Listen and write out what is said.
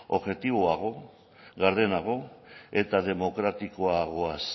objektiboago gardenago eta demokratikoagoaz